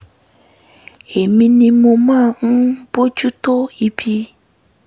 èmi ni mo máa ń bójú tó ibi